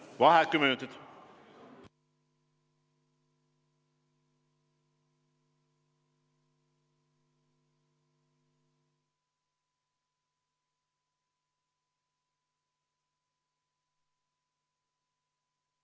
Vaheaeg kümme minutit.